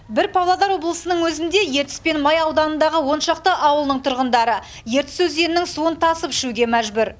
бір павлодар облысының өзінде ертіс пен май ауданындағы он шақты ауылының тұрғындары ертіс өзенінің суын тасып ішуге мәжбүр